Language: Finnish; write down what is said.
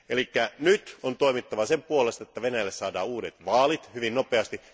Eli nyt on toimittava sen puolesta, että Venäjälle saadaan uudet vaalit hyvin nopeasti.